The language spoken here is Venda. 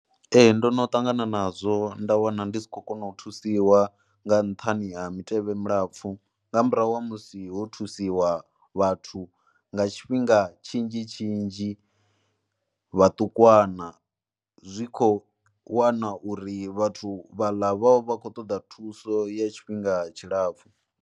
Ee ndo no ṱangana nazwo, nda wana ndi si khou kona u thusiwa nga nṱhani ha mitevhe mulapfhu nga murahu ha musi ho thusiwa vhathu nga tshifhinga tshinzhi tshinzhi vhaṱukwana, zwi khou wana uri vhathu vha vha vha khou ṱoḓa thuso ya tshifhinga tshilapfhu.